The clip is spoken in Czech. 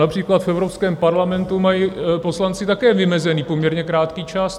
Například v Evropském parlamentu mají poslanci také vymezený poměrně krátký čas.